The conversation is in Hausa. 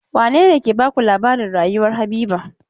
Wane ne ke baku labarin rayuwar Habiba?